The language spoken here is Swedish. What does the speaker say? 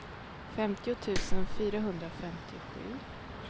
femtio tusen fyrahundrafemtiosju